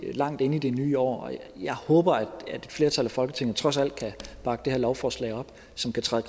vi langt inde i det nye år jeg håber at et flertal i folketinget trods alt kan bakke det her lovforslag op som kan træde